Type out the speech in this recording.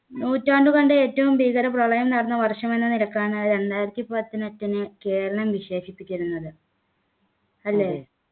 നൂറ്റാണ്ടു കണ്ട ഏറ്റവും ഭീകര പ്രളയം നടന്ന വർഷം എന്ന നിലക്കാണ് രണ്ടായിരത്തി പതിനെട്ടിനെ കേരളം വിശേഷിപ്പിക്കുന്നത് അല്ലെ